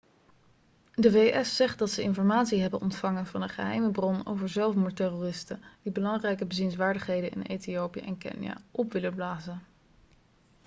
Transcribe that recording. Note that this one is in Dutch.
de vs zegt dat ze informatie hebben ontvangen van een geheime bron over zelfmoordterroristen die belangrijke bezienswaardigheden in ethiopië en kenia op willen blazen